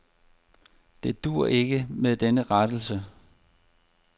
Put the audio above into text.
Det duer ikke med den rettelse.